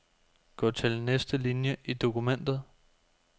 Gå til næste linie i dokumentet.